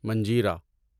منجیرا